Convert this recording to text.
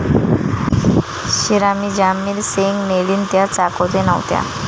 शिरामीं ज्या मिरसेंग न्हेलीन त्या चाकोते नव्हत्या.